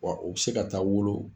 Wa u bɛ se ka taa wolo